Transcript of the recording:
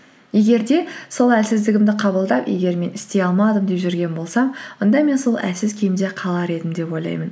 егер де сол әлсіздігімді қабылдап егер мен істей алмадым деп жүрген болсам онда мен сол әлсіз күйімде қалар едім деп ойлаймын